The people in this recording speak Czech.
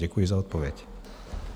Děkuji za odpověď.